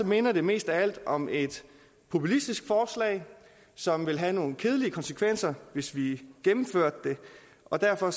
minder det mest af alt om et populistisk forslag som vil have nogle kedelige konsekvenser hvis vi gennemførte det og derfor